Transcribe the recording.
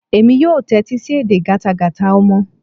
Èmi yóò tẹ́tí sí edè gátagàta ọmọ.